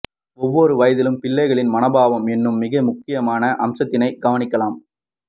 ஒவ்வொரு வயதிலும் பிள்ளைகளின் மனோபாவம் எனும் மிக முக்கியமான அம்சத்தினைக் கவனிக்கலாம்